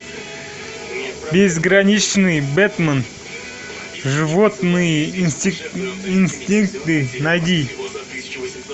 безграничный бэтмен животные инстинкты найди